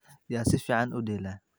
Yaa si fiican u dheela?